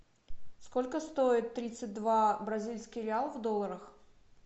сколько стоит тридцать два бразильский реал в долларах